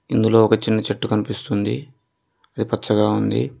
ఇందులో ఒక చిన్ని చెట్టు కనిపిస్తుంది అది పచ్చగా ఉంది.